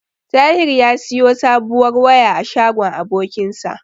Tahir ya siyo sabuwar waya a shagon abokinsa.